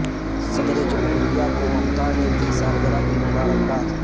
صدر جمہوریہ کو ممتا نے دی سالگرہ کی مبارکباد